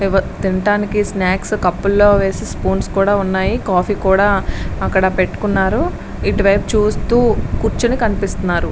ఎవ తినడానికి స్నాక్స్ కప్పుల్లో వేసి స్పూన్స్ కూడా ఉన్నాయి కాఫీ కూడా అక్కడ పెట్టుకున్నారు. ఇటువైపు చూస్తూ కూర్చుని కనిపిస్తున్నారు.